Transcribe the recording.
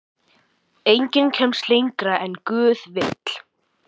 Enginn kemst lengra en guð vill.